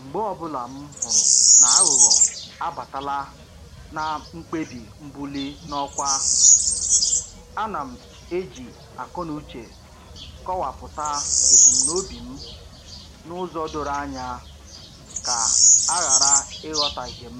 Mgbe ọbụla m hụrụ n'aghụghọ abatala na mkpebi mbuli n'ọkwa, ana m eji akọnuche kọwapụta ebumnobi m n'ụzọ doro anya ka a ghara ịghọtahie m